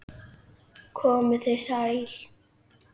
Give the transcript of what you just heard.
Komið þið sæl.